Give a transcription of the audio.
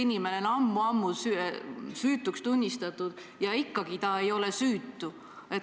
Inimene on ammu-ammu süütuks tunnistatud ja ikkagi ta justkui ei ole süütu.